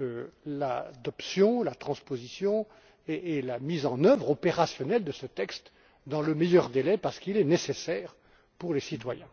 à l'adoption, à la transposition et à la mise en œuvre opérationnelle de ce texte dans les meilleurs délais parce qu'il est nécessaire pour les citoyens.